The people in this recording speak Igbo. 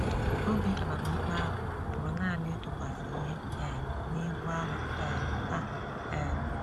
Obi amamikpe ahụ pụrụ nanị ịtụkwasị ihe um n’ibu arọ um ha um.